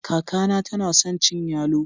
Kaka na tana son cin yallo.